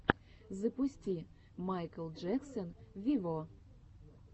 запусти майкл джексон вево